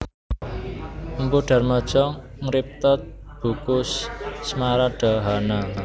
Mpu Darmaja ngripta buku Smaradhahana